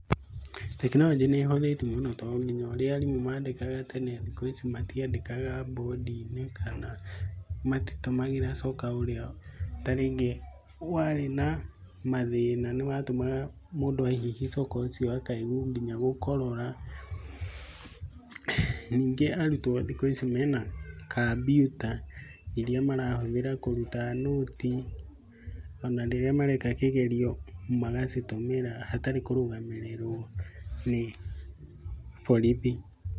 Tekinoronjĩ nĩĩhũthĩtie mũno tonginya ũrĩa arimũ mandĩkaga tene, thĩkũ ici matiandĩkaga bũndi-inĩ kana matitũmagĩra coka ũrĩa tarĩngĩ warĩ na mathĩna. Nĩwatũmaga mũndũ ahihia coka ũcio akaigua nginya gũkorora . Nyingĩ arutwo thikũ ici mena kambiuta iria marahũthĩra kũruta nũti, ona rĩrĩa mareka kĩgeranio magacitũmĩra hatarĩ kũrũgamĩrĩrwo nĩ borithi.